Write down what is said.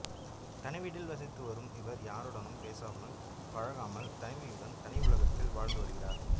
தனிவீட்டில் வசித்து வரும் இவர் யாருடனும் பேசாமல் பழகாமல் தனிமையுடன் தனி உலகத்தில் வாழ்ந்து வருகிறார்